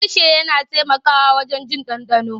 Harshe yana taimakawa wajen jin ɗanɗano.